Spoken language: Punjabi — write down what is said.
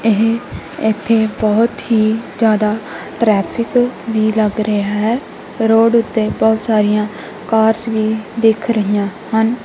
ਇਹ ਇੱਥੇ ਬਹੁਤ ਹੀ ਜਿਆਦਾ ਟਰੈਫਿਕ ਵੀ ਲੱਗ ਰਿਹਾ ਹੈ ਰੋਡ ਉੱਤੇ ਬਹੁਤ ਸਾਰੀਆਂ ਕਾਰਸ਼ ਵੀ ਦਿੱਖ ਰਹੀਆਂ ਹਨ।